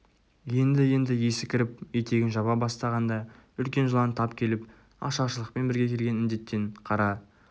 енді-енді есі кіріп етегін жаба бастағанда үлкен жылан тап келіп ашаршылықпен бірге келген індеттен қара